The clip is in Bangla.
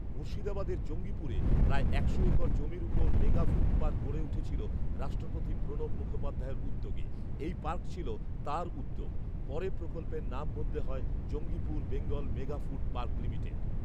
মুর্শিদাবাদের জঙ্গিপুরে প্রায় একশো একর জমির উপর মেগা ফুড পার্ক গড়ে উঠেছিল রাষ্ট্রপতি প্রণব মুখোপাধ্যায়ের উদ্যোগে৷ এই পার্ক ছিল তাঁর উদ্যোগ৷ পরে প্রকল্পের নাম বদলে হয় Jangipur Bengal mega food park limited